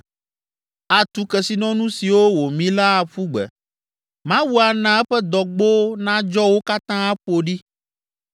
Atu kesinɔnu siwo wòmi la aƒu gbe. Mawu ana eƒe dɔgbowo nadzɔ wo katã aƒo ɖi.